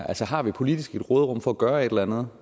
altså har vi politisk et råderum for at gøre et eller andet